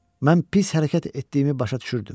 Mən pis hərəkət etdiyimi başa düşürdüm.